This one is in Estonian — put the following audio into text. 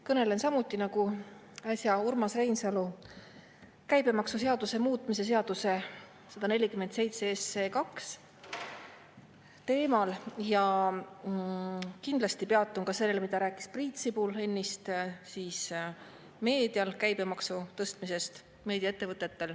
Kõnelen samuti nagu äsja Urmas Reinsalu käibemaksuseaduse muutmise seaduse 147 teemal ja kindlasti peatun ka sellel, mida ennist rääkis Priit Sibul ennist, nimelt meediaettevõtete käibemaksu tõstmisest.